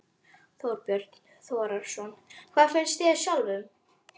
Þorbjörn Þórðarson: Hvað finnst þér sjálfum?